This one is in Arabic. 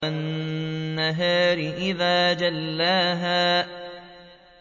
وَالنَّهَارِ إِذَا جَلَّاهَا